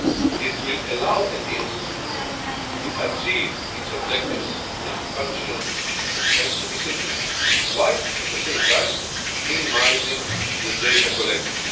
It will allow ETIAS to achieve its objectives and functions efficiently while at the same time minimising the data collected.